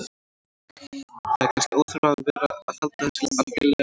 Það er kannski óþarfi að vera að halda þessu algerlega leyndu.